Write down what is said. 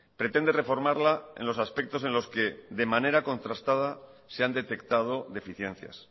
pretende reformarla en los aspectos en los que de manera contrastada se han detectado deficiencias